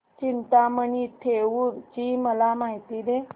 चिंतामणी थेऊर ची मला माहिती दे